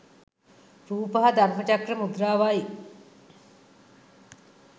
රූප හා ධර්මචක්‍ර මුද්‍රාවයි.